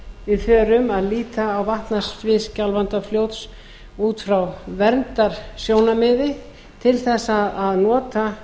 að við förum að líta á vatnasvið skjálfandafljóts út frá verndarsjónarmiði til þess að nota